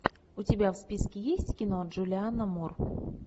у тебя в списке есть кино джулианна мур